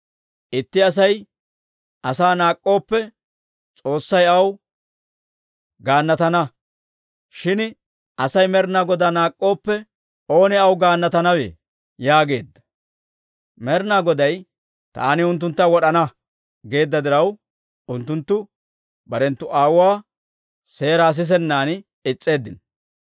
Itti Asay asaa naak'k'ooppe, S'oossay aw gaannatana; shin Asay Med'inaa Godaa naak'k'ooppe, oonee aw gaannatanawe?» yaageedda. Med'inaa Goday, «Taani unttuntta wod'ana» geedda diraw, unttunttu barenttu aawuwaa seeraa sisennan is's'eeddino.